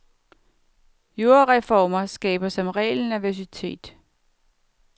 Jordreformer skaber som regel nervøsitet.